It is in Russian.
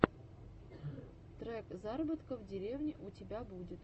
трек заработка в деревне у тебя будет